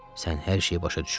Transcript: Sən hər şeyi başa düşürdün.